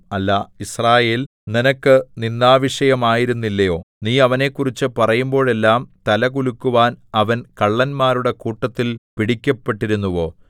അല്ല യിസ്രായേൽ നിനക്ക് നിന്ദാവിഷയമായിരുന്നില്ലയോ നീ അവനെക്കുറിച്ച് പറയുമ്പോഴെല്ലാം തല കുലുക്കുവാൻ അവൻ കള്ളന്മാരുടെ കൂട്ടത്തിൽ പിടിക്കപ്പെട്ടിരുന്നുവോ